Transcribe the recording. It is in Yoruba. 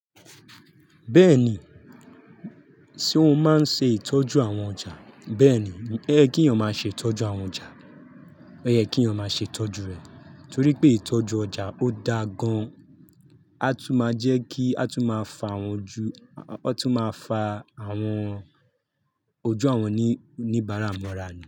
Bẹ́ẹ̀ni, ṣe o máa ń ṣe ìtọ́jú àwọn ọjà. Bẹ́ẹ̀ni, ẹ kí èèyàn máa ṣe tọ́jú àwọn ọjà. Ọ̀yẹ́ kí èèyàn máa ṣe tọ́jú rẹ̀. Torí pé ìtọ́jú ọjà ó da gan. A tún máa jẹ́ kí a tún máa fa àwọn ojú, a tún máa fa àwọn ojú àwọn oníbàárà mọ́ra ni.